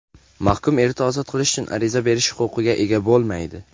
mahkum erta ozod qilish uchun ariza berish huquqiga ega bo‘lmaydi.